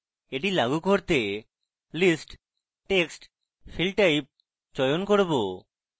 এটি লাগু করতে list text field type চয়ন করব